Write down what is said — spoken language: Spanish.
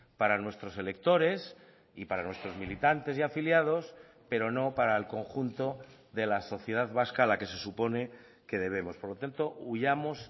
para nuestros electores y para nuestros militantes y afiliados pero no para el conjunto de la sociedad vasca a la que se supone que debemos por lo tanto huyamos